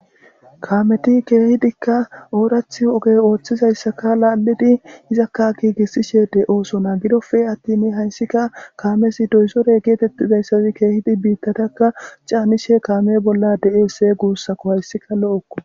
kaameti keehidikka oorathi ogey ooththizayssaka laallidi izakka giigissishe de oosona gidofee attimi hayssika kaamesi doysore geetettidayssazi keehidi biittatakka caanishe kaame bolla de7ese guussako hayssika lo7okko